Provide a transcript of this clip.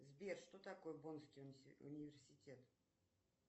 сбер что такое бонский университет